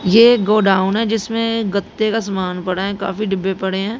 ये गोडाउन है जिसमें गत्ते का समान पड़ा है काफी डिब्बे पड़े हैं।